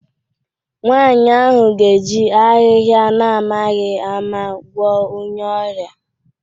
Nwanyị ahụ ga-eji ahịhịa na-amaghị ama gwọọ onye ọrịa